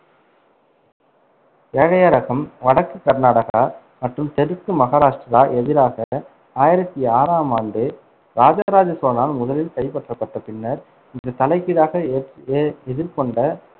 ஏழயரகம் வடக்கு கர்நாடகா மற்றும் தெற்கு மகாராஷ்டிரா எதிராக ஆயிரத்தி ஆறாம் ஆண்டு இராஜராஜ சோழனால் முதலில் கைப்பற்றப்பட்ட பின்னர் இந்த தலைகீழாக எ~ எ~ எதிர்கொண்ட